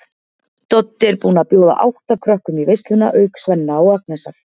Doddi er búinn að bjóða átta krökkum í veisluna auk Svenna og Agnesar.